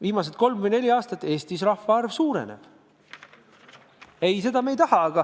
Viimased kolm või neli aastat on Eestis rahvaarv suurenenud.